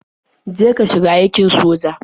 Je ka shiga aikin soja.